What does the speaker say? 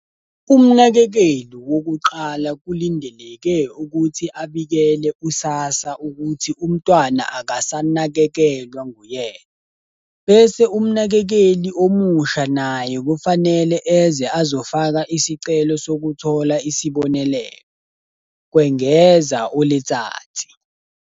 Umnakekeli wokuqala kulindeleke ukuthi abikele u-SASSA ukuthi umntwana akasanakekelwa nguyena, bese umnakekeli omusha naye kufanele eze azofaka isicelo sokuthola isibonelelo," kwengeza u-Letsatsi.